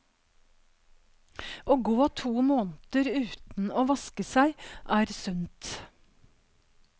Å gå to måneder uten å vaske seg er sunt.